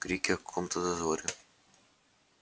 крики о каком-то дозоре